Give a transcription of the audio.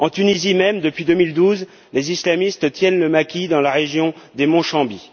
En Tunisie même, depuis 2012, les islamistes tiennent le maquis dans la région du mont Chaambi.